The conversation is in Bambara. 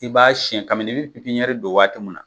I b'a siɲɛ ka mi n'i bi don waati min na